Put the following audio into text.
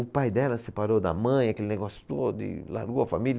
O pai dela separou da mãe, aquele negócio todo e largou a família.